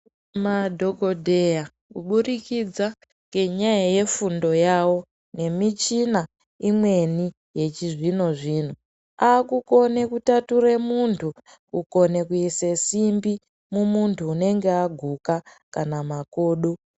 Madhokodheya kubudikidza ngenyaya yefundo yavo nemichina imweni yechizvino zvino aakukone kutature munthu kukone kuise simbi mumunthu unenge aguka kana makodo.